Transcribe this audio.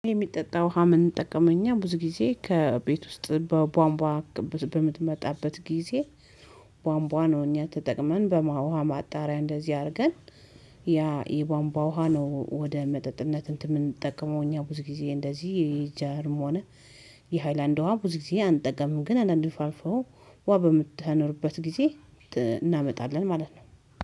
የሚጠጣ ውሃ ምንጠቀው እኛ ብዙ ጊዜ ከቤት ውስጥ በቧንቧ በምትመጣበት ጊዜ ቧንቧ ነው እኛ ተጠቅመን በማ ውሃ ማጣሪያ እንደዚህ አድርገን ያ የቧንቧ ውሃ ነው ወደ መጠጥነት እንትን የምንጠቀመው እኛ ብዙ ጊዜ እንደዚህ የጃርም ሆነ የሃይላንድ ዉሃ ብዙ ጊዜ አንጠቀምም ግን አንዳንዴ አልፎ አልፎ ውሃ በማትኖርበት ጊዜ እናመጣለን ማለት ነው።